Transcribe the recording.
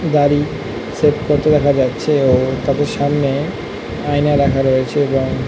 দাঁড়ি সেভ করতে দেখা যাচ্ছে এবং তাদের সামনে আয়না রাখা রয়েছে এবং--